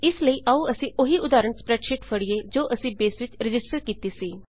ਇਸ ਲਈ ਆਉ ਅਸੀਂ ਉਹੀ ਉਦਾਹਰਨ ਸਪ੍ਰੈਡਸ਼ੀਟ ਫੜੀਏ ਜੋ ਅਸੀਂ ਬੇਸ ਵਿੱਚ ਰਜਿਸਟਰ ਕੀਤੀ ਸੀ